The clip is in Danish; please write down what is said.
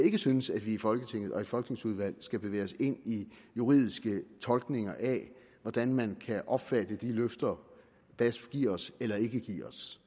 ikke synes at vi i folketinget og i folketingsudvalgene skal bevæge os ind i juridiske tolkninger af hvordan man kan opfatte de løfter basf giver os eller ikke giver os